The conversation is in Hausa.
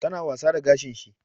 Ta na wasa da gashin shi